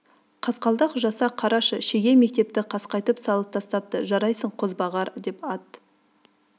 қасқалдақ жаса қарашы шеге мектепті қасқайтып салып тастапты жарайсың қозбағар деп ат